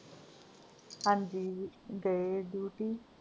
ਹਾਂਜੀ ਗਏ duty